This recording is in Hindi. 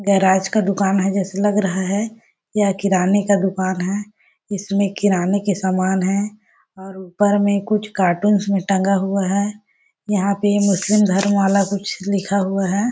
गैराज का दुकान है जैसे लग रहा है यह किराने का दुकान है इसमे किराने के सामान है और ऊपर मे कुछ कार्टून मे टंगा हुआ है यहाँ पे मुस्लिम धर्म वाला कुछ लिखा हुआ है।